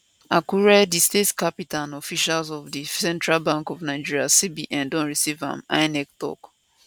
akure di state capital and officials of di central bank of nigeria cbn don receive am inec tok